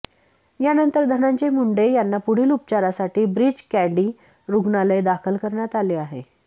यानंतर धनंजय मुंडे यांना पुढील उपचारासाठी ब्रीच कँडी रुग्णालय दाखल करण्यात आले आहे